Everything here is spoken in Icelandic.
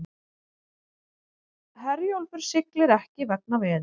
Herjólfur siglir ekki vegna veðurs